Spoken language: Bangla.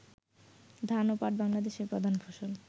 ধান ও পাট বাংলাদেশের প্রধান ফসল